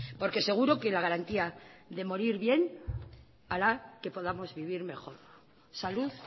porque seguro que la garantía de morir bien hará que podamos vivir mejor salud